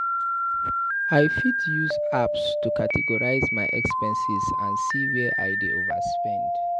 I fit use apps to categorize my expenses and see where I dey overspend.